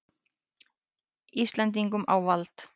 Íslendingum á vald.